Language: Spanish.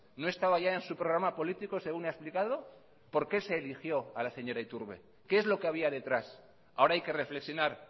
no estaba ya en su programa político según ha explicado por qué se eligió a la señora iturbe qué es lo que había detrás ahora hay que reflexionar